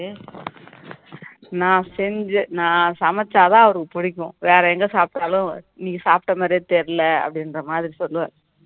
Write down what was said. நான் செஞ்சி நான் சமைச்சாதான் அவருக்கு பிடிக்கும் வேற எங்க சாப்பிட்டாலும் இன்னைக்கு சாப்பிட்ட மாதிரியே தெரியல அப்படின்ற மாதிரி சொல்லுவாரு